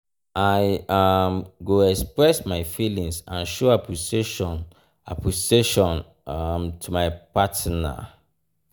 i um go express my feelings and show appreciation appreciation um to my partner. um